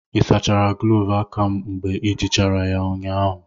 ị sachara gloovu aka m mgbe i jirichara ya ụnyahụ?